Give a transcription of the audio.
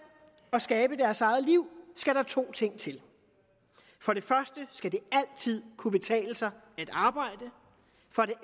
og skabe deres eget liv skal der to ting til for det første skal det altid kunne betale sig at arbejde for det